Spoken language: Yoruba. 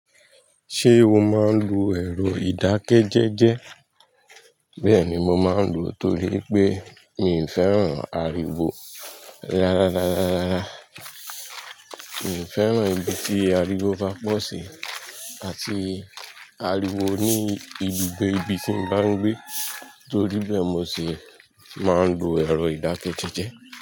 Ṣé o máa ń lo ẹ̀rọ ìdákẹ́jẹ́jẹ́? Bẹ́ẹ̀ni, mo máa ń lò ó torí wipé mi ò fẹ́ràn àrìwó rárá rárá rárá. Mi ò fẹ́ràn ibi tí àrìwó bá pọ̀ sí àti àrìwó ní ibùgbé ibi tí mo bá ń gbé. Torí bẹ́ẹ̀, mo sì máa ń lo ẹ̀rọ ìdákẹ́jẹ́jẹ́